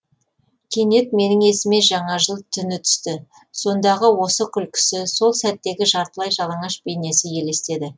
кенет менің есіме жаңа жыл түні түсті сондағы осы күлкісі сол сәттегі жартылай жалаңаш бейнесі елестеді